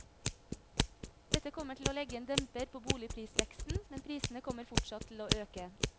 Dette kommer til å legge en demper på boligprisveksten, men prisene kommer fortsatt til å øke.